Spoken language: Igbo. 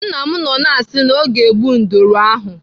Nna m nọ na-asị na ọ ga-egbu nduru ahụ.